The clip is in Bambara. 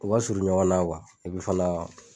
U ka surun ɲɔgɔn na fana